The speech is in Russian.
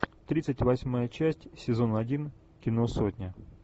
тридцать восьмая часть сезон один кино сотня